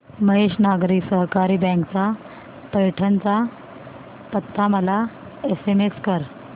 Mahesh Nagari Sahakari bank चा पैठण चा पत्ता मला एसएमएस कर